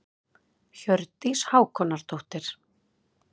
Hjördís Hákonardóttir.